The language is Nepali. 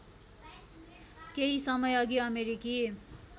केही समयअघि अमेरिकी